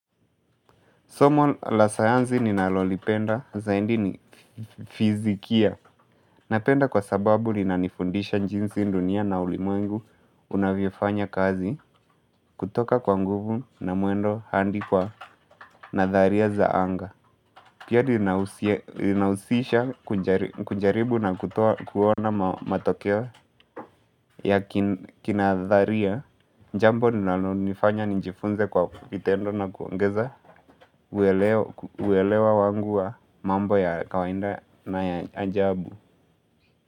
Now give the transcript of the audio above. Somo la sayanzi ninalolipenda zaindi ni fizikia Napenda kwa sababu linanifundisha njinsi dunia na ulimwengu unavyofanya kazi kutoka kwa nguvu na muendo handi kwa nadharia za anga Pia inausisha kunjaribu na kuona matokeo ya kinadharia jambo linalonifanya njifunze kwa kitendo na kuongeza uelewa wangu wa mambo ya kawainda na ya ajabu.